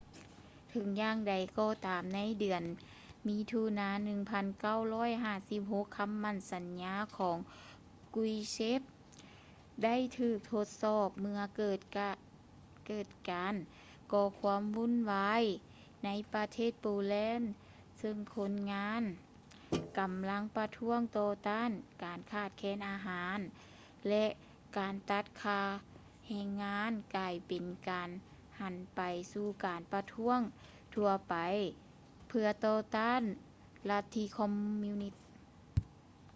ເຖິງຢ່າງໃດກໍຕາມ ໃນເດືອນ ມິຖຸນາ 1956 ຄຳໝັ້ນສັນຍາຂອງ ກຼຸສ໌ເຊັບ krushchev ໄດ້ຖືກທົດສອບເມື່ອເກີດການກໍ່ຄວາມວຸ້ນວາຍໃນປະເທດໂປແລນ ຊຶ່ງຄົນງານ ກຳລັງປະທ້ວງຕໍ່ຕ້ານການຂາດແຄນອາຫານ ແລະ ການຕັດຄ່າແຮງງານ ກາຍເປັນການຫັນໄປສູ່ການປະທ້ວງທົ່ວໄປເພື່ອຕໍ່ຕ້ານລັດທິຄອມມິວນິດ